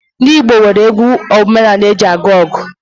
Ndị Igbo nwere egwu ọdịnaala eji aga ọgụ